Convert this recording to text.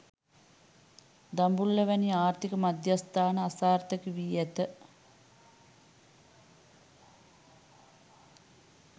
දඹුල්ල වැනි ආර්ථික මධ්‍යස්ථාන අසාර්ථක වී ඇත